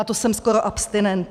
A to jsem skoro abstinent.